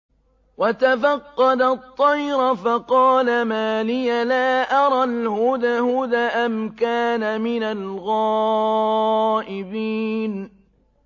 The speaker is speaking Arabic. وَتَفَقَّدَ الطَّيْرَ فَقَالَ مَا لِيَ لَا أَرَى الْهُدْهُدَ أَمْ كَانَ مِنَ الْغَائِبِينَ